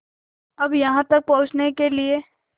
अब यहाँ तक पहुँचने के लिए